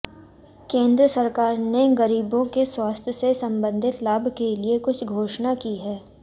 केन्द्र सरकार ने गरीबों के स्वास्थ्य से संबंधित लाभ के लिए कुछ घोषणा की है